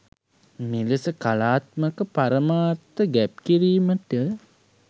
මෙලෙස කලාත්මක පරමාර්ථ ගැබ් කිරීමට